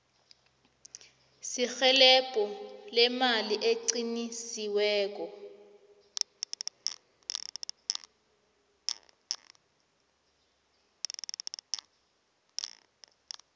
serhelebho leemali eliqinisiweko